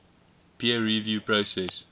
peer review process